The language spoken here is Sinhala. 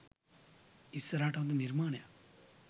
ඉස්සරහට හොඳ නිර්මාණයක්